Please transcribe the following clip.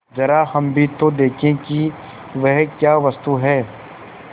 जरा हम भी तो देखें कि वह क्या वस्तु है